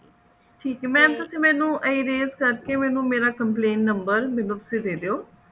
ਠੀਕ ਹੈ mam ਮੈਨੂੰ ਇਹ raise ਕਰਕੇ ਮੈਨੂੰ ਮੇਰਾ complaint number ਮੈਨੂੰ ਤੁਸੀਂ ਦੇ ਦਿਓ